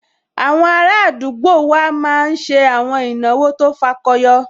Àwọn ará àdúgbò wa máa n ṣe àwọn ìnáwó tó fakọyọ